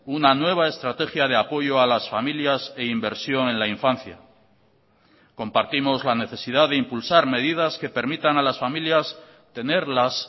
una nueva estrategia de apoyo a las familias e inversión en la infancia compartimos la necesidad de impulsar medidas que permitan a las familias tener las